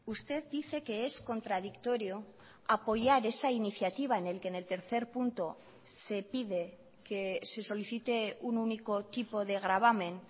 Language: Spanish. usted dice que es contradictorio apoyar esa iniciativa en el que en el tercer punto se pide que se solicite un único tipo de gravamen